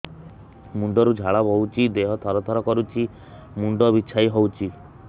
ମୁଣ୍ଡ ରୁ ଝାଳ ବହୁଛି ଦେହ ତର ତର କରୁଛି ମୁଣ୍ଡ ବିଞ୍ଛାଇ ହଉଛି